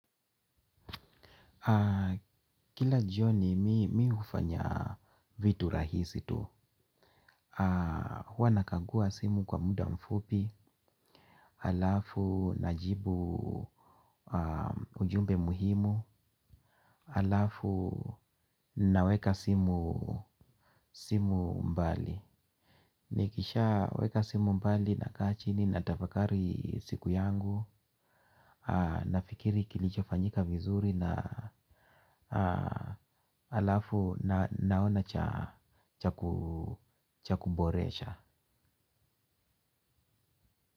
Kila jioni mi hufanya vitu rahisi tu. Huwa nakagua simu kwa muda mfupi alafu najibu ujumbe muhimu alafu naweka simu mbali. Nikishaweka simu mbali nakaa chini natafakari siku yangu. Nafikiri kilichofanyika vizuri na alafu naona cha kuboresha.